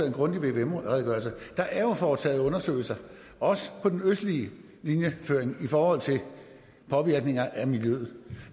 en grundig vvm redegørelse der er jo foretaget undersøgelser også på den østlige linjeføring i forhold til påvirkninger af miljøet